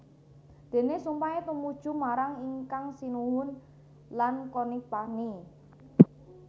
Déné sumpahé tumuju marang Ingkang Sinuhun lan Conipagnie